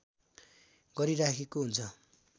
गरिराखेको हुन्छ